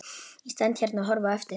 Ég stend hérna og horfi á eftir þér.